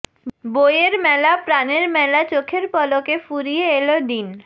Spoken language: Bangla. বইয়ের মেলা প্রাণের মেলা চোখের পলকে ফুরিয়ে এল দিন